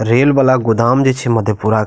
rail वाला गोदाम जे छै मधेपुरा के --